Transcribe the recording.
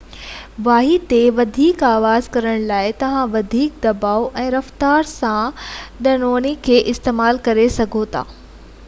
واڄي تي وڌيڪ آواز ڪرڻ لاءِ توهان وڌيڪ دٻاءُ ۽ رفتار سان ڌنوڻي کي استعمال ڪريو ٿا